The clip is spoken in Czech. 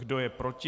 Kdo je proti?